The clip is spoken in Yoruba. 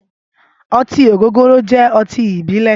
Ọtin ọ́gógóró jẹ̀ ọtin ibilẹ̀